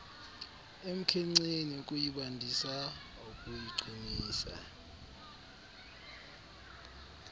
emkhenkceni ukuyibandisa ukuyiqinisa